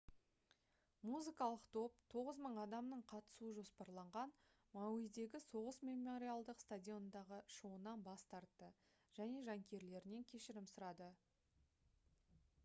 музыкалық топ 9000 адамның қатысуы жоспарланған мауидегі соғыс мемориалдық стадионындағы шоуынан бас тартты және жанкүйерлерінен кешірім сұрады